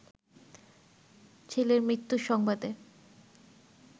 ছেলের মৃত্যুর সংবাদে